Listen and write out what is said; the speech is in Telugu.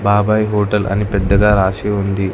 బాబాయ్ హోటల్ అని పెద్దగా రాసి ఉంది.